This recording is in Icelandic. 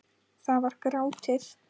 Það var grátið!